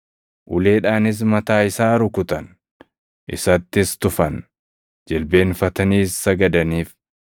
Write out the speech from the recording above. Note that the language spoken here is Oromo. Uleedhaanis mataa isaa rukutan; isattis tufan. Jilbeenfataniis sagadaniif.